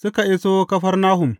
Suka iso Kafarnahum.